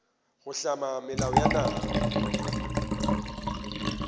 go hlama melao ya naga